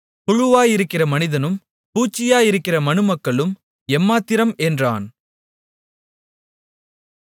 புழுவாயிருக்கிற மனிதனும் பூச்சியாயிருக்கிற மனுமக்களும் எம்மாத்திரம் என்றான்